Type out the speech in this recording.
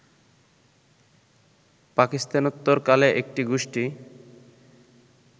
পাকিস্তানোত্তরকালে একটি গোষ্ঠী